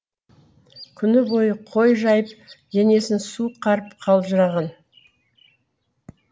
күні бойы қой жайып денесін суық қарып қалжыраған